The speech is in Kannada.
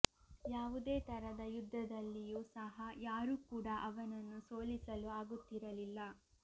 ಯಾವುದೇ ತರದ ಯುದ್ಧದಲ್ಲಿಯೂ ಸಹ ಯಾರು ಕೂಡ ಅವನನ್ನು ಸೋಲಿಸಲು ಆಗುತ್ತಿರಲಿಲ್ಲ